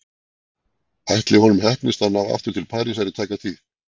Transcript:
Ætli honum heppnist að ná aftur til Parísar í tæka tíð?